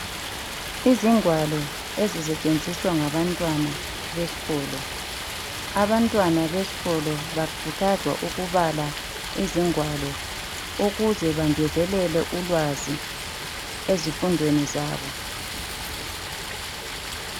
Izingwalo ezisetshenziswa ngabantwana besikolo. Abantwana besikolo bakhuthazwa ukubala izingwalo ukuze bangezelele ulwazi ezifundweni zabo